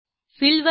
fill वर जा